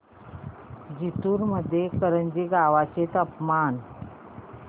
जिंतूर मधील करंजी गावाचे तापमान